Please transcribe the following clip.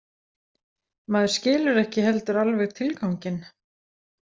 Maður skilur ekki heldur alveg tilganginn.